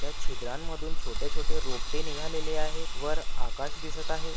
त्या छिद्रांमधून छोटे छोटे रोपटे निघालेले आहे. वर आकाश दिसत आहे.